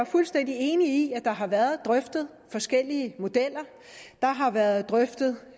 fuldstændig enig i at der har været drøftet forskellige modeller der har været drøftet